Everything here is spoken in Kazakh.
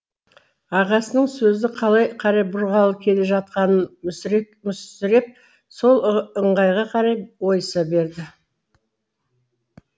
ағасының сөзді қалай қарай бұрғалы келе жатқанын мүсіреп мүсіреп сол ыңғайға қарай ойыса берді